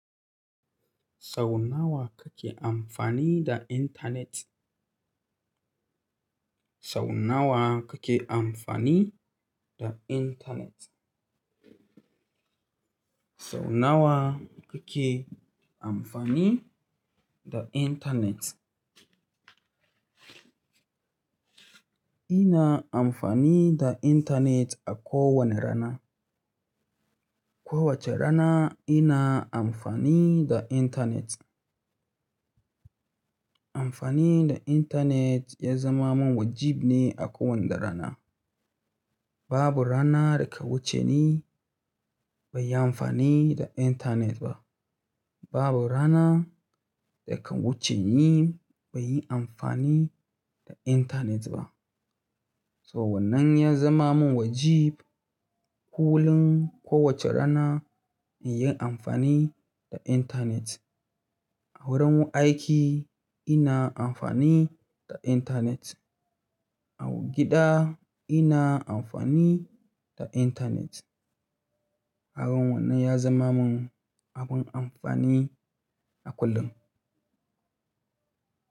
Sau nawa kake amfani da intanet? Sau nawa kake amfani da intanet? Sau nawa kake amfani da intanet? Ina amfani da intanet a ko wani rana. Kowace rana ina amfani da intanet. Amfani da intanet ya zama min wajib ne a kowani rana. Babu rana da ke wuce ni banyi amfani da intanet ba. Babu rana da ka wuce ni baiyi amfani da intanet ba. Sa wamnan ya zama min wajib kullum kowace rana in yi amfani da intanet. A wurin aiki ina amfani da intanet. A gida ina amfani da intanet. Kagan wannan ya zama mun abun amfani a kullum.